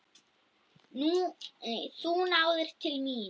Þú náðir til mín.